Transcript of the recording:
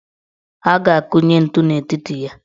A ga-akunye ntu n' etiti ya.